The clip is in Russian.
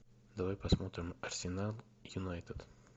давай посмотрим арсенал юнайтед